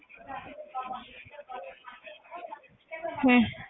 ਹਮ